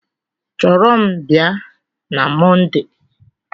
Chọrọ m bịa na Mọnde!